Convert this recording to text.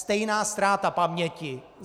Stejná ztráta paměti.